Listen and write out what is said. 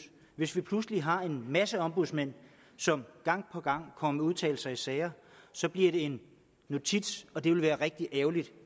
hvis vi pludselig har en masse ombudsmænd som gang på gang kommer med udtalelser i sager så bliver det en notits og det ville være rigtig ærgerligt